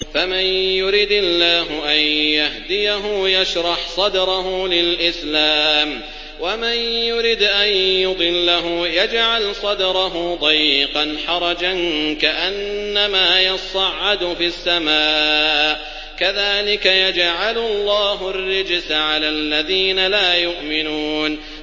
فَمَن يُرِدِ اللَّهُ أَن يَهْدِيَهُ يَشْرَحْ صَدْرَهُ لِلْإِسْلَامِ ۖ وَمَن يُرِدْ أَن يُضِلَّهُ يَجْعَلْ صَدْرَهُ ضَيِّقًا حَرَجًا كَأَنَّمَا يَصَّعَّدُ فِي السَّمَاءِ ۚ كَذَٰلِكَ يَجْعَلُ اللَّهُ الرِّجْسَ عَلَى الَّذِينَ لَا يُؤْمِنُونَ